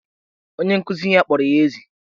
Onye nkuzi ya kpọrọ ya ezi.